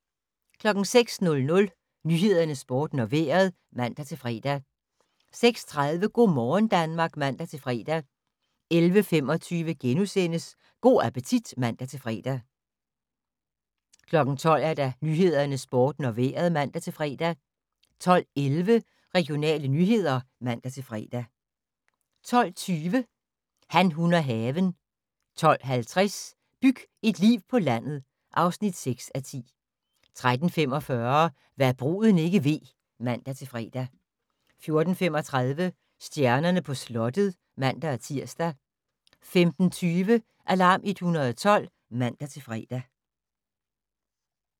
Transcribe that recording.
06:00: Nyhederne, Sporten og Vejret (man-fre) 06:30: Go' morgen Danmark (man-fre) 11:25: Go' appetit *(man-fre) 12:00: Nyhederne, Sporten og Vejret (man-fre) 12:11: Regionale nyheder (man-fre) 12:20: Han, hun og haven 12:50: Byg et liv på landet (6:10) 13:45: Hva' bruden ikke ved (man-fre) 14:35: Stjernerne på slottet (man-tir) 15:20: Alarm 112 (man-fre)